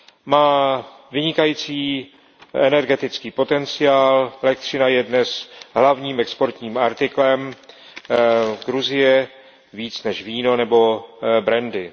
Má vynikající energetický potenciál, elektřina je dnes hlavním exportním artiklem Gruzie více než víno nebo brandy.